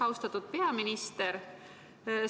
Austatud peaminister!